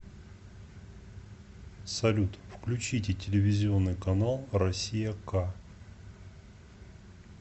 салют включите телевизионный канал россия к